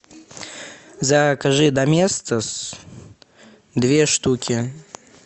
закажи доместос две штуки